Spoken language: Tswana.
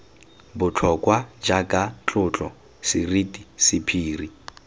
botlhokwa jaaka tlotlo seriti sephiri